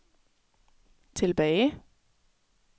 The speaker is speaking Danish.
tilbage